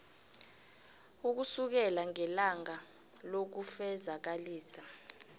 ukusukela ngelanga lokufezakalisa